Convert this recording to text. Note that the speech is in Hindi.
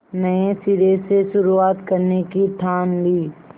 नए सिरे से शुरुआत करने की ठान ली